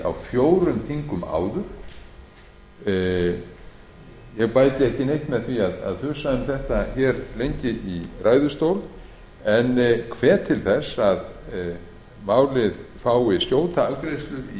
á fjórum þingum ég bæti ekki neitt með því að þusa um þetta lengi í ræðustól en hvet til þess að málið fái skjóta afgreiðslu í